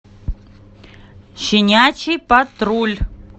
щенячий патруль